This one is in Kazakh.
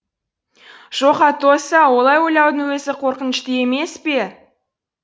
жоқ атосса олай ойлаудың өзі қорқынышты емес пе